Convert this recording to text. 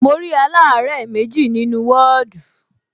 Mo rí aláàárẹ̀ méjì nínú ní wọ́ọ̀dù